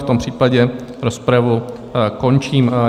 V tom případě rozpravu končím.